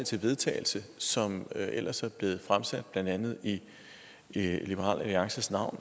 til vedtagelse som ellers er blevet fremsat i blandt andet liberal alliances navn